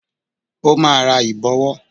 Ó máa ra Ìbọ̀wọ́